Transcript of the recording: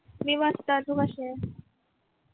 मी मस्त तू कशी आहेस?